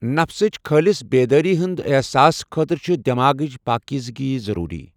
نفسٕچ خٲلص بیدٲری ہنٛدۍ احساس خٲطرٕ چھِ دٮ۪ماغٕچ پٲکیزگی ضروٗری۔